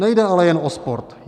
Nejde jen ale o sport.